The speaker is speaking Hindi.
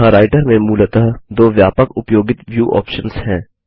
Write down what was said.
यहाँ राइटर में मूलतः दो व्यापक उपयोगित व्यू ऑप्शन्स हैं